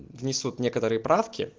внесут некоторые правки